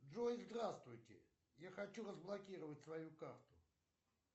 джой здравствуйте я хочу разблокировать свою карту